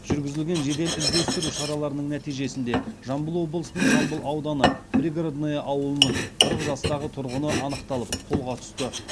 жүргізілген жедел іздестіру іс шараларының нәтижесінде жамбыл облысының жамбыл ауданы пригородное ауылының қырық жастағы тұрғыны анықталып қолға түсті